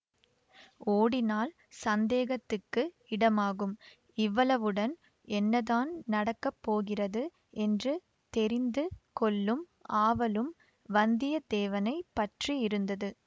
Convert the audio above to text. ஓடினால் சந்தேகத்துக்கு இடமாகும் இவ்வளவுடன் என்னதான் நடக்க போகிறது என்று தெரிந்து கொள்ளும் ஆவலும் வந்தியத்தேவனை பற்றியிருந்தது